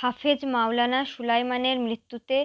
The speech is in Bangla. হাফেজ মাওলানা সুলায়মানের মৃত্যুতে